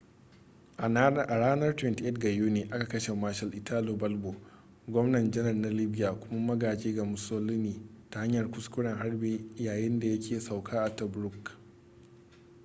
a ranar 28 ga yuni aka kashe marshal italo balbo gwamna-janar na libya kuma magaji ga mussolini ta hanyar kuskuren harbi yayin da yake sauka a tobruk